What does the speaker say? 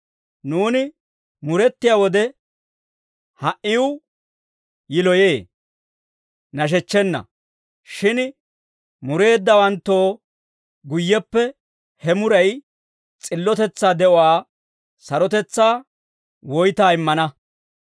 Nuuni murettiyaa wode, ha"iw yiloyee; nashechchenna. Shin mureeddawanttoo guyyeppe he muray s'illotetsaa de'uwaa sarotetsaa woytaa immana.